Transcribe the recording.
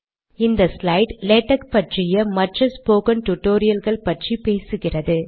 இந்த slide LaTeX பற்றிய மற்ற ஸ்போகன் டுடோரியல்கள் பற்றி பேசுகிறது